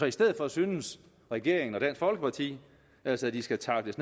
i stedet synes regeringen og dansk folkeparti altså at de skal tackles